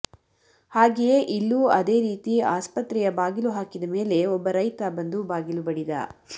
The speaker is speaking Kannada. ಹಾಗೆಯೇ ಇಲ್ಲೂ ಅದೇ ರೀತಿ ಆಸ್ಪತ್ರೆಯ ಬಾಗಿಲು ಹಾಕಿದ ಮೇಲೆ ಒಬ್ಬ ರೈತ ಬಂದು ಬಾಗಿಲು ಬಡಿದ